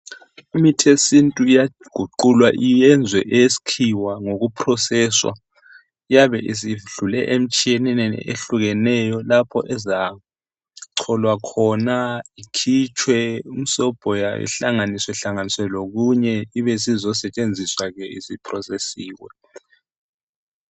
Imithi yesintu iyaguqulwa iyenzwe eyesikhiwa ngokuproseswa, lyabe isiyedlule emtshineni ehlukeneyo, lapho ezacholwa khona. lkhitshwe imsobho yayo, ihlangahlanganiswe lokunye. Ibisizesetshenziswa ke, isiprosesiwe.